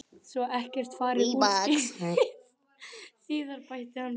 Svo ekkert fari úrskeiðis síðar bætti hann við.